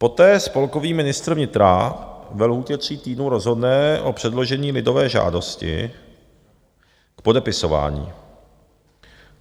Poté spolkový ministr vnitra ve lhůtě tří týdnů rozhodne o předložení lidové žádosti k podepisování.